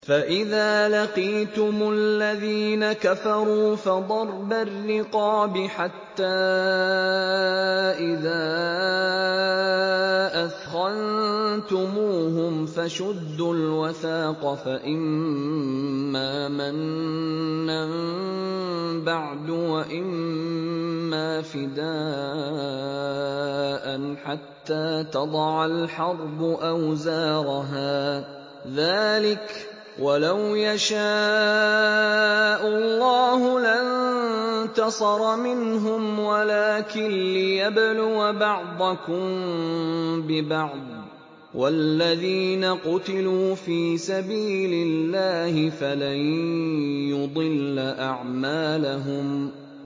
فَإِذَا لَقِيتُمُ الَّذِينَ كَفَرُوا فَضَرْبَ الرِّقَابِ حَتَّىٰ إِذَا أَثْخَنتُمُوهُمْ فَشُدُّوا الْوَثَاقَ فَإِمَّا مَنًّا بَعْدُ وَإِمَّا فِدَاءً حَتَّىٰ تَضَعَ الْحَرْبُ أَوْزَارَهَا ۚ ذَٰلِكَ وَلَوْ يَشَاءُ اللَّهُ لَانتَصَرَ مِنْهُمْ وَلَٰكِن لِّيَبْلُوَ بَعْضَكُم بِبَعْضٍ ۗ وَالَّذِينَ قُتِلُوا فِي سَبِيلِ اللَّهِ فَلَن يُضِلَّ أَعْمَالَهُمْ